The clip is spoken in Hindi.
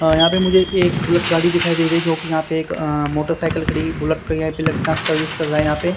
अह यहां पे मुझे एक बुलेट गाड़ी दिखाई दे रही जो कि यहां पे एक अह मोटरसाइकिल खड़ी बुलेट खड़ी है यहां पे लड़का सर्विस कर रहा है यहां पे।